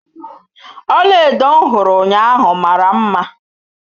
Ọlaedo m hụrụ ụnyaahụ mara mma.